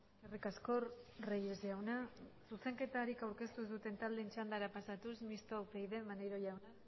eskerrik asko reyes jauna zuzenketarik aurkeztu ez duten txandara pasatuz mistoa upyd maneiro jauna